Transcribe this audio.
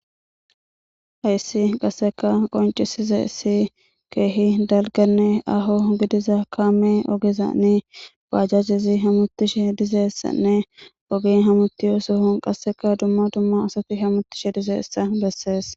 Hayissi qassekka qonccisizayisi kehi dalgganne aaho gidiza kamme oggezan bajjajeyi hemmetishe dizayissanne oggeyi hammetiza sohon qasekka duma duma asayi hemettishe dizayissa besses.